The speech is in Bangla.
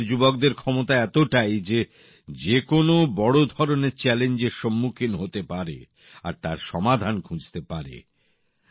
আমাদের দেশের যুবকদের ক্ষমতা এতটাই যে যেকোনো বড় ধরনের চ্যালেঞ্জের সম্মুখীন হতে পারে আর তার সমাধান খুঁজতে পারে